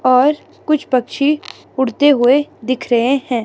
और कुछ पक्षी उड़ते हुए दिख रहे हैं।